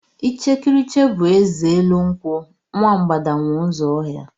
Ichekiriche bụ eze élú nkwụ, nwa mgbada nwe ụzọ ọhịa.